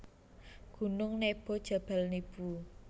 Gunung Nebo Jabal Nibu